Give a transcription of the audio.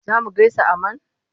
Za mu gaisa a man?